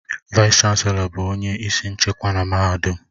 Vaịs-Chanelọ bụ onye isi nchịkwa na mahadum